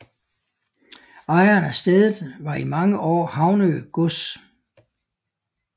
Ejeren af stedet var i mange år Havnø gods